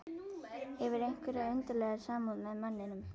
Hefur einhverja undarlega samúð með manninum.